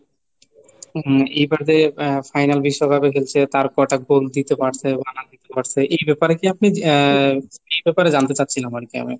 হুম এইবারে final বিশ্বকাপে খেলছে তার কটা goal দিতে পারছে? পারছে এই ব্যাপারে কি আপনি আহ এই ব্যাপারে জানতে চাচ্ছিলাম আর কি আমি.